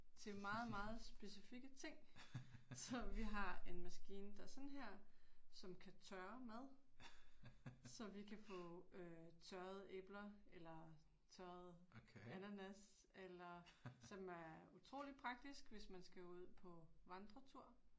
Til meget meget specifikke ting. Så vi har en maskine der sådan her, som kan tørre mad. Så vi kan få øh tørrede æbler eller tørret ananas eller som er utrolig praktisk hvis man skal ud på vandretur